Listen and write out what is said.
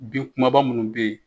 Bin kumaba munnu bɛ yen.